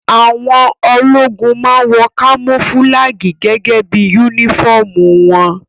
Àwọn ológun máa wọ kamofúlágì gẹ́gẹ́ bí yúnífọ̀mù wọn